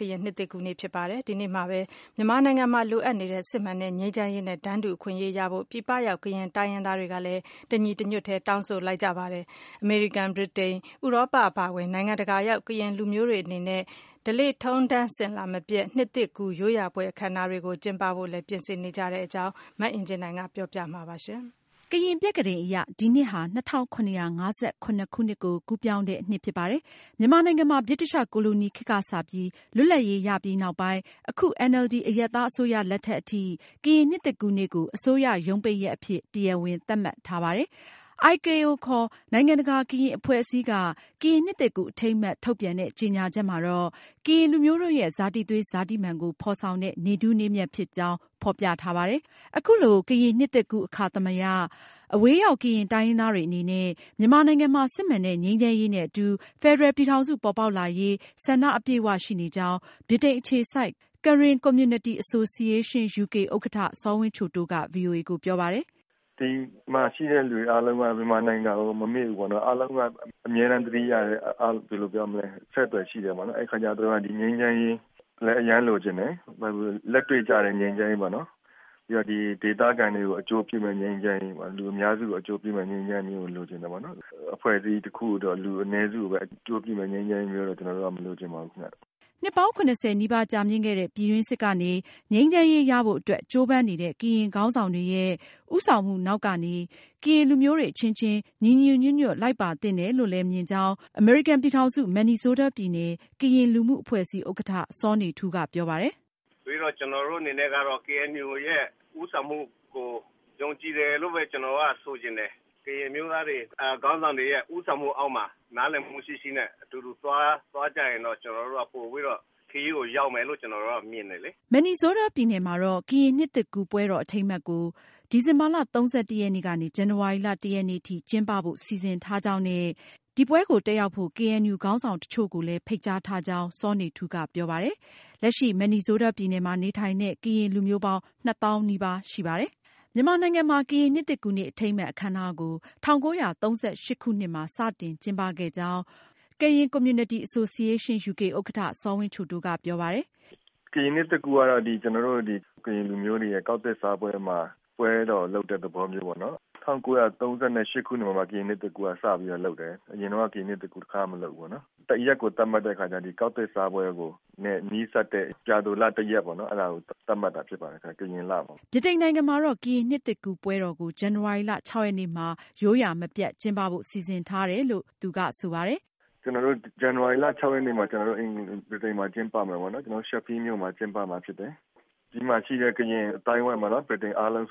ကရင်နှစ်သစ်ကူးနေ့အခါသမယ မြန်မာနိုင်ငံမှာ လိုအပ်နေတဲ့ စစ်မှန်တဲ့ ငြိမ်းချမ်းရေးနဲ့ တန်းတူအခွင့်အရေး ရရှိဖို့ပြည်ပရောက် ကရင်တိုင်းရင်းသားတွေ တညီတညွတ်တည်း တောင်းဆိုလိုက်ပါတယ်။ အမေရိကန်၊ ဗြိတိန်၊ ဥရောပ အပါအဝင် နိုင်ငံတကာရောက် ကရင်လူမျိုးတွေအနေနဲ့ ဓလေ့ထုံးထမ်းအစဉ်အလာမပျက် နှစ်သစ်ကူးရိုးရာပွဲအခမ်းအနားတွေ ကျင်းပဖို့ ပြင်ဆင်နေတဲ့အကြောင်း မအင်ကြင်းနိုင်က ဆက်ပြီးပြောပြမှာပါ။ ကရင်ပြက္ခဒိန်အရ ဒီနှစ်ဟာ ၂၇၅၇ ခုနှစ် ကိုကူးပြောင်းတဲ့နှစ်ဖြစ်ပါတယ်။ မြန်မာနိုင်ငံမှာ ဗြိတိသျှကိုလိုနီခေတ်ကစပြီး လွတ်လပ်ရေးရပြီးနောက်ပိုင်း အခု NLD အရပ်သားအစိုးရလက်ထက်အထိ ကရင်နှစ်သစ်ကူးနေ့ကို အစိုးရရုံးပိတ်ရက်အဖြစ် တရားဝင်သတ်မှတ်ထားတာပါ။ IKO နိုင်ငံတကာကရင်အဖွဲ့အစည်းက ကရင်နှစ်သစ်ကူးအထိမ်းအမှတ်ထုတ်ပြန်တဲ့ ကြေညာချက်မှာ ကရင်လူမျိုးတို့ရဲ့ ဇာတိသွေး၊ ဇာတိမာန်ကို ဖေါ်ဆောင်တဲ့ နေ့ထူးနေ့မြတ်ဖြစ်ကြောင်း ဖေါ်ပြထားပါတယ်။ အခုလိုကရင်နှစ်သစ်ကူးအခါသမယ အဝေးရောက် ကရင်တိုင်းရင်းသားတွေအနေနဲ့ မြန်မာနိုင်ငံမှာ စစ်မှန်တဲ့ ငြိမ်းချမ်းရေးနဲ့ အတူ ဖယ်ဒရယ်ပြည်ထောင်စု ပေါ်ပေါက်လာရေး ဆန္ဒ အပြည့်အဝရှိနေကြောင်း ဗြိတိန်အခြေစိုက် Karen Community Association UK ဥက္ကဌ စောဝင်းချိုတိုးက VOA ကို ပြောပါတယ်။ "ဒီမှာရှိတဲ့လူအားလုံးက မြန်မာနိုင်ငံကို မမေ့ဘူးပေါ့နော် ၊ အားလုံးက အမြဲတမ်းသတိရတယ်၊ အဆက်အသွယ်ရှိတယ်ပေါ့နော် အဲဒီအခါကျတော့ ဒီငြိမ်းချမ်းရေးလည်း အရမ်းလိုချင်တယ်။ လက်တွေ့ကျတဲ့ငြိမ်းချမ်းရေးပေါ့နော် ပြီးတော့ ဒီဒေသခံတွေကို အကျိုးပြုမယ့် ငြိမ်းချမ်းရေးပေါ့နော် လူအများစုကို အကျိုးပြုမယ့် ငြိမ်းချမ်းရေးကို လိုချင်တယ်။ အဖွဲ့အစည်းတခုအတွက် လူအနည်းစုကိုပဲ အကျိုးပြုမယ့် ငြိမ်းချမ်းရေးမျိုးကိုတော့ ကျနော်တို့မလိုချင်ပါဘူးခင်ဗျ။" နှစ်ပေါင်း ၇၀ နီးပါးကြာမြင့်ခဲ့တဲ့ ပြည်တွင်းစစ် ကနေ ငြိမ်းချမ်းရေးရဖို့ အတွက် ကြိုးပမ်းနေတဲ့ ကရင်ခေါင်းဆောင်တွေရဲ့ ဦးဆောင်မှုနောက်ကနေ ကရင်လူမျိုးတွေအချင်းချင်း ညီညီညွတ်ညွတ် လိုက်ပါသင့်တယ်လို့ အမေရိကန်ပြည်ထောင်စု Minnesota ပြည်နယ် ကရင်လူမှုအဖွဲ့အစည်း ဥက္ကဌ စောနေထူးက ပြောပါတယ်။ "ကျနော်တို့အနေနဲ့ကတော့ KNU ရဲ့ ဦးဆောင်မှုကို ယုံကြည်တယ်လို့ပဲ ကျနော်တို့ကဆိုချင်တယ်။ ကရင်အမျိုးသားတွေ ခေါင်းဆောင်တွေရဲ့ ဦးဆောင်မှုအောက်မှာ နားလည်မှုရှိရှိနဲ့ အတူတကွ သွားကြရင်တော့ ကျနော်တို့က ပိုပြီးတော့ ခရီးကိုရောက်မယ်လို့ ကျနော်တို့မြင်ပါတယ်။" Minnesota ပြည်နယ်မှာတော့ ကရင်နှစ်သစ်ကူးပွဲတော်အထိမ်းအမှတ်ကို ဒီဇင်ဘာလ ၃၁ ရက်နေ့ကနေ ဇန်နဝါရီလ ၁ ရက်နေ့ ထိ ကျင်းပဖို့ စီစဉ်ထားကြောင်း နဲ့ ဒီပွဲကို ကရင်ခေါင်းဆောင်တချို့ကိုလည်း ဖိတ်ကြားထားကြောင်း စောနေထူးက ပြောပါတယ်။Minnesota ပြည်နယ်မှာ နေထိုင်တဲ့ ကရင်လူမျိုး ပေါင်း ၂ သောင်းနီးပါးရှိပါတယ်။ မြန်မာနိုင်ငံမှာ ကရင်နှစ်သစ်ကူးနေ့အထိမ်းအမှတ်အခမ်းအနားကို ၁၉၃၈ခုနှစ်မှာ စတင်ကျင်းပခဲ့ကြောင်း Karen Community Association UK ဥက္ကဌ စောဝင်းချိုတိုးက ဆိုပါတယ်။ "ကရင်နှစ်သစ်ကူးကတော့ ကျနော်တို့ ကရင်လူမျိုးတွေရဲ့ ကောက်သစ်စားပွဲမှာ ပွဲတော်လုပ်တဲ့သဘောမျိုးပေါ့နော် ၁၉၃၈ ခုနှစ်မှာ ကရင်နှစ်သစ်ကူးစလုပ်တယ်။ အရင်တုန်းကတော့ ကရင်နှစ်သစ်ကူးတခါမှ မလုပ်ဖူးဘူးပေါ့နော်။ ရက်ကိုသတ်မှတ်တဲ့အခါကျတော့ ကောက်သစ်စားပွဲနဲ့ နီးစပ်တဲ့ ပြာသိုလ ၁ ရက်ပေါ့နော် အဲဒါကို သတ်မှတ်တာဖြစ်ပါတယ်ခင်ဗျ။ ကရင်လမှာပါ။ " ဗြိတိန်နိုင်ငံမှာတော့ ကရင်နှစ်သစ်ကူးပွဲတော်ကို ဇန်နဝါရီလ ရက်နေ့မှာ ရိုးရာမပျက်ကျင်းပဖို့ စီစဉ်ထားကြောင်း စောဝင်းချိုတိုးက ပြောပါတယ်။ "ကျနော်တို့ ဇန်နဝါရီလ ၆ ရက်နေ့မှာ ဗြိတိန်မှာကျင်းပမယ်ပေါ့နော် Sheffield မြို့မှာ ကျင်းပမှာဖြစ်တယ်။ ဒီမှာရှိတဲ့ ကရင်အသိုင်းအဝိုင်းပေါ့နော်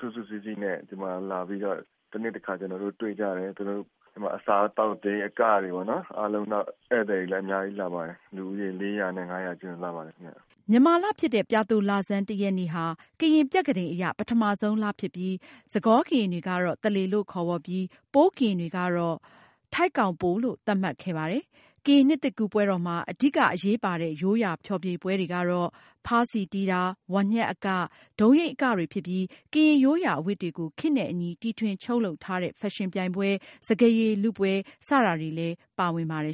စုစုစည်းစည်း နဲ့ ဒီမှာလာပြီးတော့ တနှစ်တခါ ကျနော်တို့ တွေ့ကြတယ်။ ဒီမှာ အစားအသောက်တွေ အကတွေပေါ့နော် နောက်ပြီး ဧည့်သည် တွေလည်းအများကြီးလာပါတယ်။ လူဦးရေ ၄၀၀ နဲ့ ၅၀၀ ကြားလာပါတယ်ခင်ဗျ။" မြန်မာလဖြစ်တဲ့ ပြာသိုလဆန်း ရက်နေ့ဟာ ကရင်ပြက္ခဒိန်အရ ပထမဆုံးလဖြစ်ပြီး စကောကရင်တွေက သလေ လို့ခေါ်ဝေါ်ပြီး ပိုးကရင်တွေကတော့ ထိုက်ကောင်ပို လို့သတ်မှတ်ခဲ့ပါတယ်။ ကရင်နှစ်သစ်ကူးပွဲတော်မှာ အဓိကအရေးပါတဲ့ ရိုးရာဖျော်ဖြေပွဲတွေကတော့ ဖါးစည်တီးတာ၊ ဝါးညှပ်အက၊ ဒုံးယိမ်းအကတွေဖြစ်ပြီး ကရင်ရိုးရာအဝတ်တွေကို ခေတ်နဲ့အညီတီထွင်ချုပ်လုပ်ထားတဲ့ဖက်ရှင်ပြိုင်ပွဲ၊ စကားရည်လုပွဲစတာတွေလည်း ပါဝင်ပါတယ်